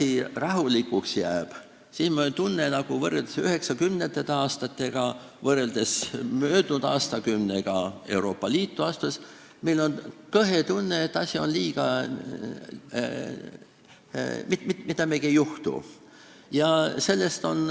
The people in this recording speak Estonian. Kui asi rahulikuks jääb, siis on meil võrreldes üheksakümnendatega ja võrreldes möödunud aastakümnega, kui me Euroopa Liitu astusime, nagu kõhe tunne, et mitte midagi ei juhtu.